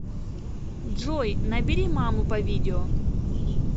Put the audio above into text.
джой набери маму по видео